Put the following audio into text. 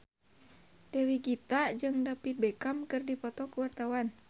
Dewi Gita jeung David Beckham keur dipoto ku wartawan